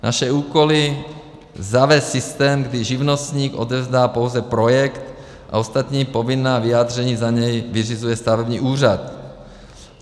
Naše úkoly: zavést systém, kdy živnostník odevzdá pouze projekt a ostatní povinná vyjádření za něj vyřizuje stavební úřad.